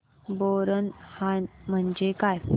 बोरनहाण म्हणजे काय